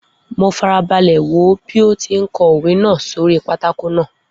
Mo fara balẹ̀ wò ó bí ó ti ń kọ òwe náà sórí pátákó náà.